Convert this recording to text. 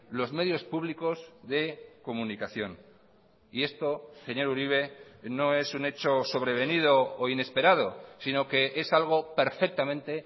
los medios públicos de comunicación y esto señor uribe no es un hecho sobrevenido o inesperado sino que es algo perfectamente